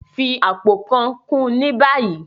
Fi apó kàn kún ní báyìí!